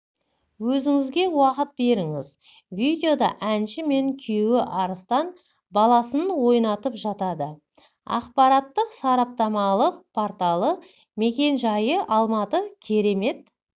өзіңізге уақыт беріңіз видеода әнші мен күйеуі арыстан баласын ойнатып жатады ақпараттық-сараптамалық порталы мекен-жайы алматы керемет